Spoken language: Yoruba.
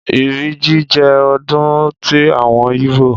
Ìrì jí jẹ́ ọdún ti àwọn yíbò